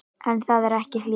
En það er ekki hlé.